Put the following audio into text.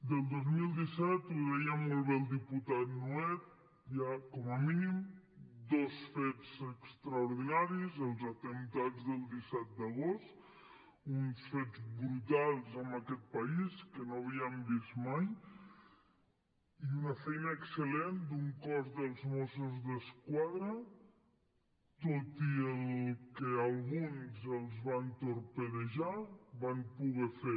del dos mil disset ho deia molt bé el diputat nuet hi ha com a mínim dos fets extraordinaris els atemptats del disset d’agost uns fets brutals en aquest país que no havíem vist mai i una feina excel·lent d’un cos dels mossos d’esquadra que tot i que a alguns els van torpedejar van poder fer